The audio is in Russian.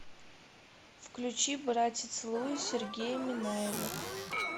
включи братец луи сергея минаева